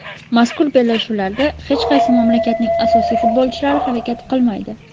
Mazkur bellashuvlarda hech qaysi mamlakatning asosiy futbolchilari harakat qilmaydi.